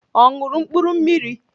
Ọ ṅụrụ mkpụrụ mmiri?